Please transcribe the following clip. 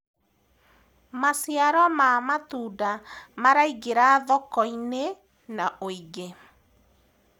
maciaro ma matunda maraingira thoko-inĩ na wũingi